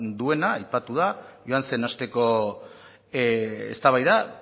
duena aipatu da joan zen asteko eztabaida